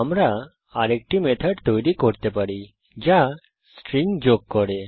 আমরা আরেকটি মেথড তৈরী করতে পারি যা স্ট্রিং যোগ করে